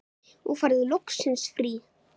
Þú færð loksins frí.